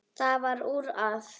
Það varð úr að